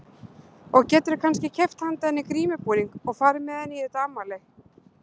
Og geturðu kannski keypt handa henni grímubúning og farið með henni í þetta afmæli?